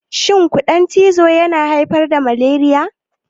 Shin ƙudan cizo yana haifar da malariya?